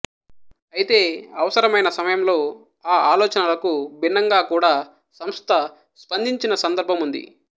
అయితే అవసరమైన సమయంలో ఆ ఆలోచనలకు భిన్నంగా కూడా సంస్థ స్పందించిన సందర్భముంది